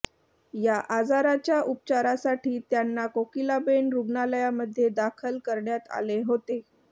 या आजाराच्या उपचारासाठी त्यांना कोकिलाबेन रुग्णालयामध्ये दाखल करण्यात आले होते